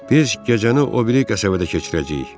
Biz gecəni o biri qəsəbədə keçirəcəyik.